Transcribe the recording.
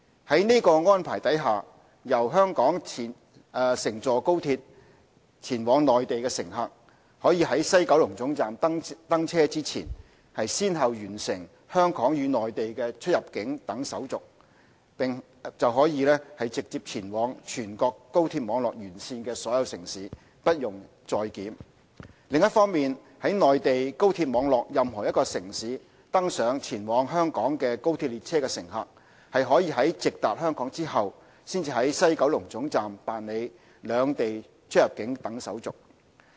在這安排下，由香港乘坐高鐵往內地的乘客，可於西九龍總站登車前，先後完成香港與內地的出入境等手續，便可直接前往全國高鐵網絡沿線的所有城市，不用再檢；另一方面，在內地高鐵網絡任何一個城市登上前往香港的高鐵列車的乘客，可在直達香港後才於西九龍總站辦理兩地出入境等手續。